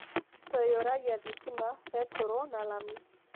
"Tũiyũragia thitima, betũrũ, na lami.